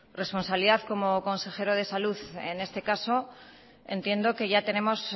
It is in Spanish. responsabilidad como consejero de salud en este caso entiendo que ya tenemos